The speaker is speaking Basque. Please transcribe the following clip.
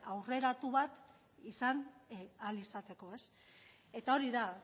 aurreratu bat izan ahal izateko eta hori da